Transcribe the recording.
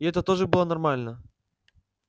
и это тоже было нормально